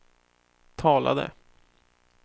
talade